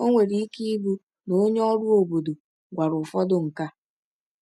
O nwere ike ịbụ na onye ọrụ obodo gwara ụfọdụ nke a.